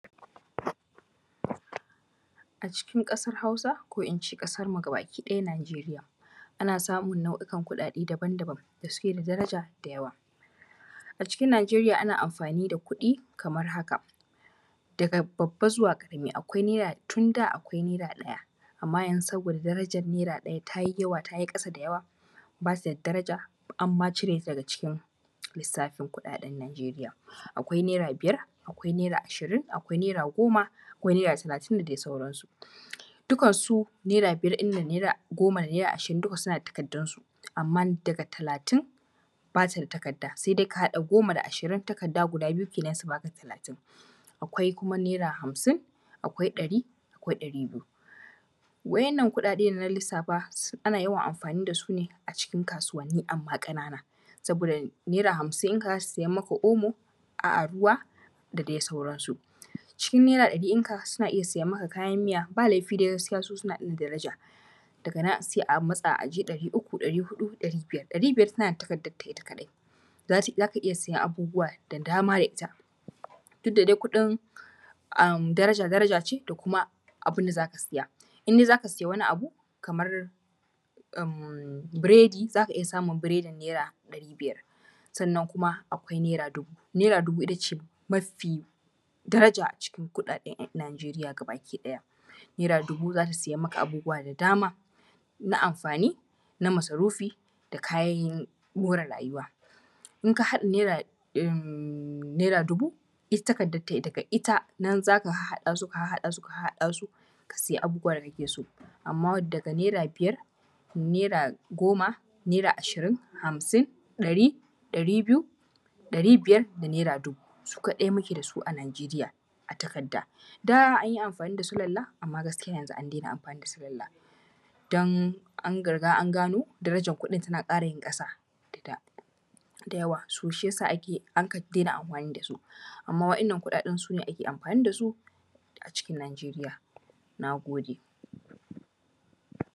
A cikin ƙasar Hausa ko in ce ƙasar gabakiɗaya Nijeriya ana samun nau’ikan kuɗaɗe daban- daban da suke da daraja da yawa, a cikin Nijeriya ana amfani da kuɗi kamar haka: daga babba zuwa ƙarami, akwai naira tun da, akwai naira ɗaya amman yanzu saboda darajar naira ɗaya ta yi yawa, ta yi ƙasa da yawa ba ta da daraja an ma cire ta daga cikin lisafin kuɗaɗen Nijeriya. Akwai naira biyar, akwai naira ashirin, akwai naira goma, akwai naira talatin da dai sauransu dukansu naira biyar ɗin nan, naira goma da naira ashirin duka suna da takardunsu, amman daga talatin ba ta da takada sai dai ka haɗa goma da ashirin takarda guda biyu su ba ka talatin. Akwai kuma naira hamsin, akwai ɗari, akwai ɗari biyu wa’yan nan kuɗaɗe da na lisafa ana yawan amfani da su ne a cikin kasuwani, amma ƙanana saboda naira hamsin ɗinka zai siyan maka omo ko ruwa da dai sauransu, cikin naira ɗari ɗinka ka iya siyan maka kayan miya ba laifi dai gaskiya su suna da daraja daga nan sai a matsa a je ɗari uku, ɗari huɗu, ɗari biyar, ɗari biyar tana da takardanta ita kaɗai, za ka iya siyan abubuwa da dama da ita duk da dai kuɗin darajar daraja ce da kuma abin da za ka siya indai za ka siya wani abu kamar biredi za ka iya samun biredin naira ɗari biyar, sannan kuma akwai naira dubu ita ce mafi daraja a cikin kuɗaɗen Nijeriya, gabakiɗaya naira dubu za ta siyan ma abubuwa da dama na amfani na masarufi da kayan more rayuwa in ka haɗa naira dubu ita takardanta ita kaɗai nan za ka harhaɗa su ka harhaɗa su ka sayi abubuwa da kake so. Amma daga naira biyar, naira goma, naira ashirin, hamsin, ɗari, ɗari biyu, ɗari biyar da naira dubu su kaɗai muke da su a Nijeriya a takarda, da an yi amfani da sulala amma gaskiya yanzu an dena amfani da sulala don an riga an gano darajar kuɗin tana ƙara yin ƙasa da da dayawa so shi ya sa an ka daina amfani da su, amma wannan kuɗaɗen ake amfani da su a cikin Nijeriya. Na gode.